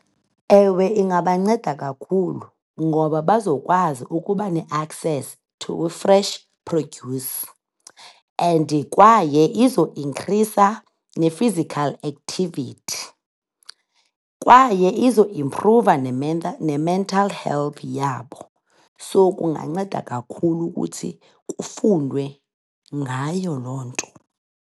Ewe, ingabanceda kakhulu ngoba bazokwazi ukuba ne-access to fresh produce and kwaye izo inkhrisa ne-physical activity. Kwaye izo imphruva ne-mental health yabo. So, kunganceda kakhulu ukuthi kufundwe ngayo loo nto.